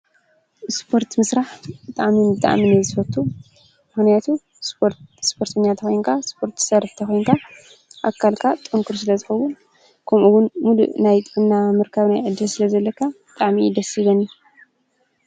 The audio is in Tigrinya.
እስፖርት ምስራሕ ብጣዕሚ ብጣዕሚ እየ ዝፈቱ። ምክንያቱ ስፖርተኛ ተኮይንካ ስፖርት ትሰርሕ ተኮይንካ ኣካልካ ጥንኩር ስለ ዝከውን ከምኡውን ምሉእ ናይ ጥዕና ምርካብ ዕድል ስለ ዘለካ በጣዕሚ እዩ ደስ ዝብለኒ፡፡